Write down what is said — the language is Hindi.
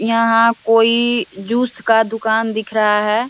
यहाँ कोई जूस का दुकान दिख रहा है।